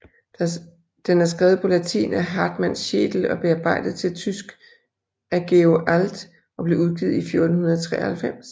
Den er skrevet på latin af Hartmann Schedel og bearbejdet til tysk af Georg Alt og blev udgivet i 1493